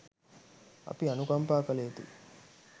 අපි අනුකම්පා කල යුතුයි.